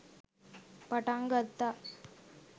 පටන් ගත්තා.